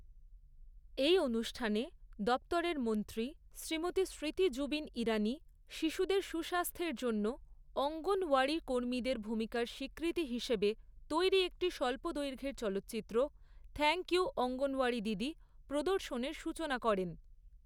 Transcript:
এই অনুষ্ঠানে দপ্তরের মন্ত্রী শ্রীমতী স্মৃতি জুবিন ইরানি শিশুদের সুস্বাস্থ্যের জন্য অঙ্গনওয়াড়ি কর্মীদের ভূমিকার স্বীকৃতি হিসেবে তৈরি একটি স্বল্প দৈর্ঘ্যের চলচ্চিত্র 'থ্যাঙ্কইউ অঙ্গনওয়াড়িদিদি' প্রদর্শনের সূচনা করেন।